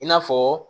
I n'a fɔ